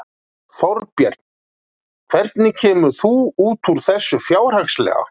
Þorbjörn: Hvernig kemur þú út úr þessu fjárhagslega?